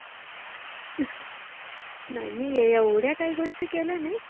नाइ, मि ये एवढ्या काइ गोष्टी केल्या नाहि